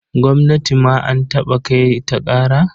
Gwamnati ma an taɓa kai ta ƙara.